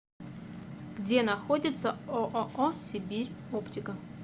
где находится ооо сибирь оптика